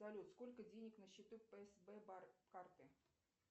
салют сколько денег на счету псб карты